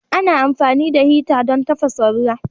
Ana amfani da hita don tafasa ruwa.